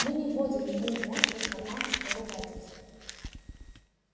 мы не вводим ему в мозг информацию о ругательствах